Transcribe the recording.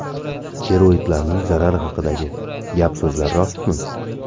Steroidlarning zarari haqidagi gap-so‘zlar rostmi?.